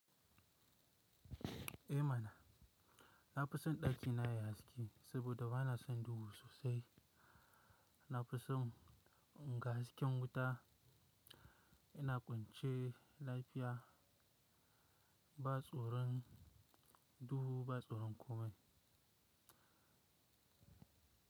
Eh mana, na fi son ɗaki na ya haske saboda ba na son duhu sosai. Na fi son in ga hasken wuta yana kwance lafiya ba tsoron duhu ba tsoron komai.